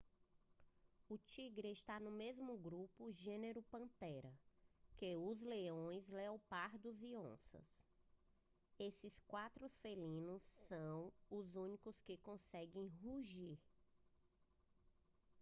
o tigre está no mesmo grupo gênero panthera que os leões leopardos e onças. esses quatro felinos são os únicos que conseguem rugir